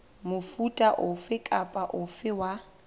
mofuta ofe kapa ofe wa